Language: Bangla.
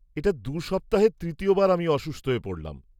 -এটা দু সপ্তাহে তৃতীয় বার আমি অসুস্থ হয়ে পড়লাম।